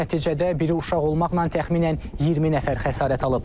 Nəticədə biri uşaq olmaqla təxminən 20 nəfər xəsarət alıb.